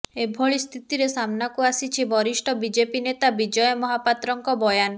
ଏଭଳି ସ୍ଥିତିରେ ସାମନାକୁ ଆସିଛି ବରିଷ୍ଠ ବିଜେପି ନେତା ବିଜୟ ମହାପାତ୍ରଙ୍କ ବୟାନ